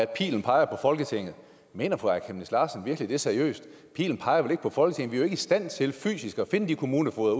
pilen peger på folketinget mener fru aaja chemnitz larsen virkelig det seriøst pilen peger vel ikke på folketinget vi i stand til fysisk at finde kommunefogeder